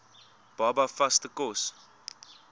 baba vaste kos